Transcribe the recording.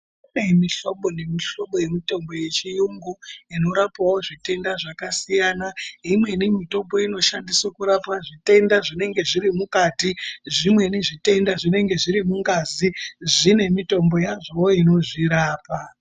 Kune mihlobo nemihlobo yemutombo yechiyungu, inorapawo zvitenda zvakasiyana. Imweni mitombo inoshandiswe kurapa zvitenda zvinenge zviri mukati. Zvimweni zvitenda zvinenge zviri mungazi, zvine mitombo yazvowo inozvirapa.